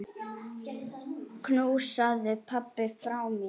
Knúsaðu pabba frá mér.